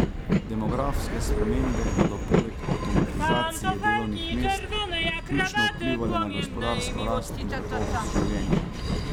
Demografske spremembe bodo poleg avtomatizacije delovnih mest ključno vplivale na gospodarsko rast in kakovost življenja.